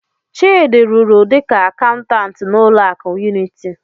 Chidi rụrụ dịka akaụntantụ n'ụlọ akụ Unity.